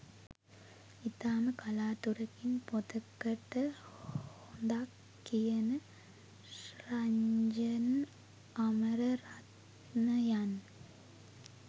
ඉතාම කලාතුරකින් පොතකට හොඳක් කියන රන්ජන් අමරරත්නයන්